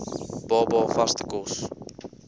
baba vaste kos